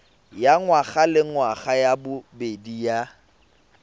ya ngwagalengwaga ya bobedi ya